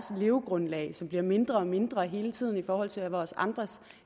levegrundlag som bliver mindre og mindre hele tiden i forhold til vores andres